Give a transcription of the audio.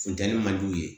Funteni man d'u ye